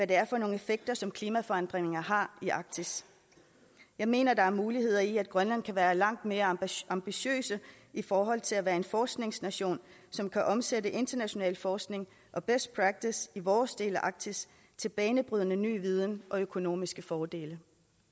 det er for nogle effekter som klimaforandringerne har i arktis jeg mener der er muligheder i at grønland kan være langt mere ambitiøse i forhold til at være en forskningsnation som kan omsætte international forskning og best practice i vores del af arktis til banebrydende ny viden og økonomiske fordele